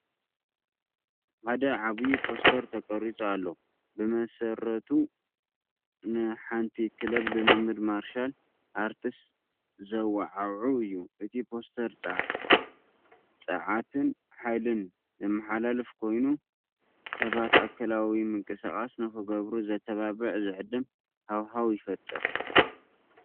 ሓደ ዓቢ ፖስተር ተቐሪጹ ኣሎ፣ ብመሰረቱ ንሓንቲ ክለብ ልምምድ ማርሻል ኣርትስ ዘወዓውዕ እዩ። እቲ ፖስተር ጸዓትን ሓይልን ዘመሓላልፍ ኮይኑ፡ ሰባት ኣካላዊ ምንቅስቓስ ንኽገብሩ ዘተባብዕ ዝዕድም ሃዋህው ይፈጥር።